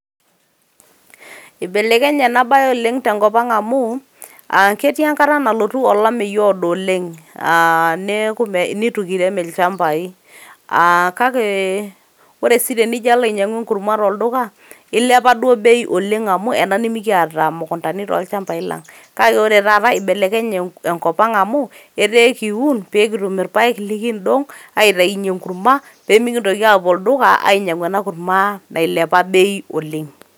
Ibelekenye enabae tenkop ang' amu, ah ketii enkata nalotu olameyu oodo oleng'. Ah neeku nitu kirem ilchambai. Ah kake ore si tenijo alo ainyang'u enkurma tolduka, ilepa duo bei oleng' amu ena nimikiata mukuntani tolchambai lang'. Kake ore taata, ibelekenye enkop ang' amu, etaa ekiun pikitum irpaek likiidong' aitayunye enkurma, pemikintoki apuo olduka ainyang'u enakurma nailepa bei oleng'.